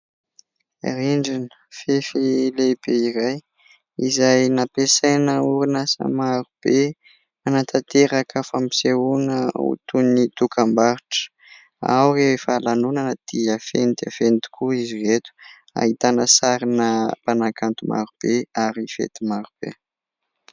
Rindrina fefy lehibe iray izay nampiasaina orinasa maro be hanantanteraka fampisehoana ho toy ny dokam-barotra ; ao rehefa lanonana dia feno dia feno tokoa izy ireto, ahitana sarina mpanakanto maro be ary fety maro be.